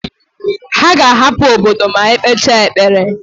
Ha ga-ahapụ obodo ma e kpechaa ekpere.